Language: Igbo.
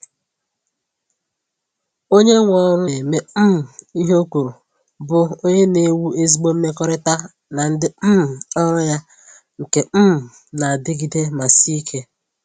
Onye nwe ọrụ na-eme um ihe o kwuru bụ onye na-ewu ezigbo mmekọrịta na ndị um ọrụ ya nke um na adịgide ma sie ike.